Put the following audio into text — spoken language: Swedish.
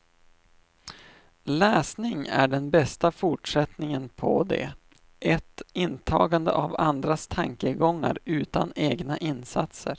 Läsning är den bästa fortsättningen på det, ett intagande av andras tankegångar utan egna insatser.